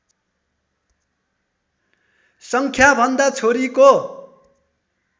सङ्ख्याभन्दा छोरीको